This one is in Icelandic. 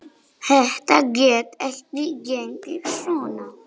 Þetta gat ekki gengið svona.